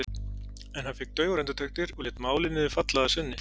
En hann fékk daufar undirtektir og lét málið niður falla að sinni.